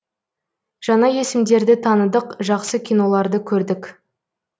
жаңа есімдерді таныдық жақсы киноларды көрдік